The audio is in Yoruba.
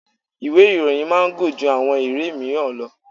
Ìwé ìròyìn máa ń gùn ju àwọn ìwé míràn lọ.